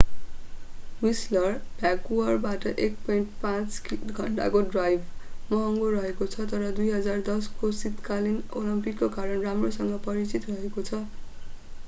Whistler भ्यानकुवरबाट 1.5 घण्टाको drive महँगो रहेको छ तर 2010को शीतकालीन ओलम्पिकको कारण राम्रोसँग परिचित रहेको छ।